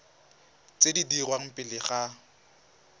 tse di dirwang pele ga